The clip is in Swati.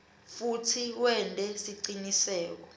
futsi wente siciniseko